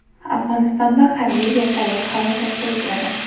Afg‘onistonda harbiy vertolyot halokatga uchradi.